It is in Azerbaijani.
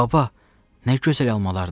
Baba, nə gözəl almalardır!